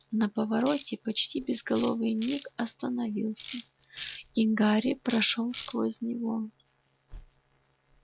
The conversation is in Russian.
на повороте почти безголовый ник остановился и гарри прошёл сквозь него